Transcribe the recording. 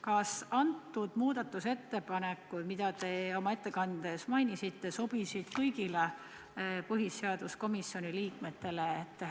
Kas need ettepanekud, mida te oma ettekandes mainisite, sobisid kõigile põhiseaduskomisjoni liikmetele?